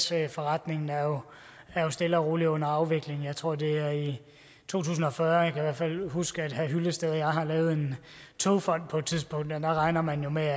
gasforretningen stille og roligt er under afvikling jeg tror at det er i to tusind og fyrre jeg fald huske at herre henning hyllested og jeg har lavet en togfond på et tidspunkt og der regner man jo med